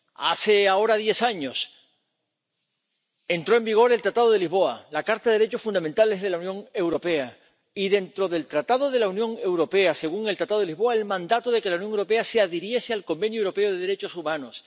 Hace ahora diez años entró en vigor el Tratado de Lisboa, la Carta de los Derechos Fundamentales de la Unión Europea y, dentro del Tratado de la Unión Europea —según el Tratado de Lisboa—, el mandato de que la Unión Europea se adhiriese al Convenio Europeo de Derechos Humanos.